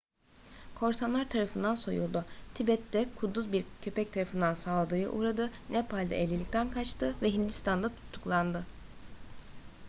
korsanlar tarafından soyuldu tibet'te kuduz bir köpek tarafından saldırıya uğradı nepal'de evlilikten kaçtı ve hindistan'da tutuklandı